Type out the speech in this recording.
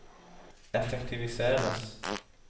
effektiviseres